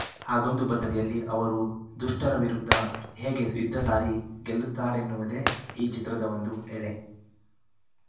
ಹಾಗೊಂದು ಬದ್ಧತೆಯಲ್ಲಿ ಅವರು ದುಷ್ಟರ ವಿರುದ್ಧ ಹೇಗೆ ಯುದ್ಧ ಸಾರಿ ಗೆಲ್ಲುತ್ತಾರೆನ್ನುವುದೇ ಈ ಚಿತ್ರದ ಒಂದು ಎಳೆ